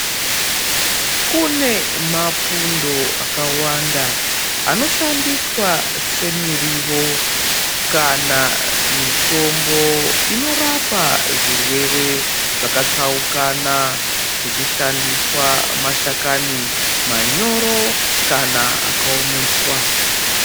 Kune mapundo akawanda ano shandiswa se mirivo kana mitombo inorapa zvirwere zvaka tsaukana kuchi shandiswa mashakani manyoro kana aka omeswa.